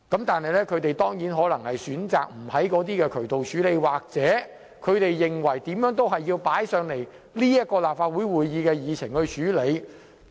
但是，他們選擇不循該等渠道處理，而是無論如何都要把該等問題列入立法會會議議程處理。